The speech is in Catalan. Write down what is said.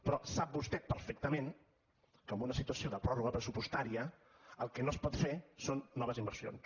però sap vostè perfectament que en una situació de pròrroga pressupostària el que no es pot fer són noves inversions